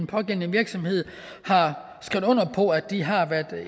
pågældende virksomhed har skrevet under på at de har været